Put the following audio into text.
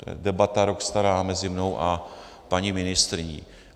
To je debata rok stará mezi mnou a paní ministryní.